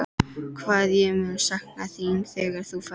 Hvað ég mun sakna þín þegar þú ferð.